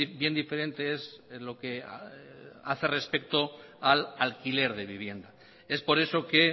bien diferente es lo que hace respecto al alquiler de vivienda es por eso que